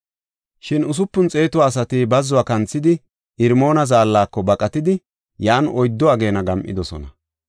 Shin usupun xeetu asati bazzuwa kanthidi, Irmoona Zaallako baqatidi, yan oyddu ageena gam7idosona.